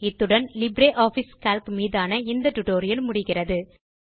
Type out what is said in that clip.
இத்துடன் LibreOffice Calc மீதான இந்த ஸ்போக்கன் டியூட்டோரியல் முடிகிறது